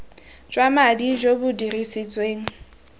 jwa madi jo bo dirisitsweng